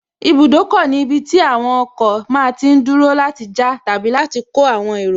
Ibùdókọ̀ ní ibi tí àwọn ọkọ̀ máa tí n dúró láti já àti láti kó àwọn èrò